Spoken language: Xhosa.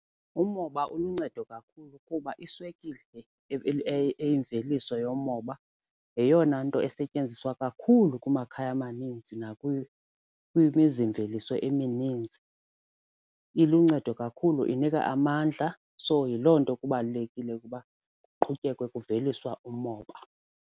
Umoba uluncedo kakhulu kuba iswekile eyimveliso yomoba yeyona nto esetyenziswa kakhulu kumakhaya maninzi kwimizimveliso emininzi. Iluncedo kakhulu inika amandla. So yiloo nto kubalulekile ukuba kuqhutyekwe kuveliswa umoba.